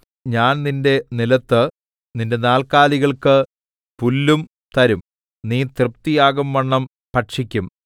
ഞാൻ നിന്റെ നിലത്ത് നിന്റെ നാൽക്കാലികൾക്ക് പുല്ലും തരും നീ തൃപ്തിയാകുംവണ്ണം ഭക്ഷിക്കും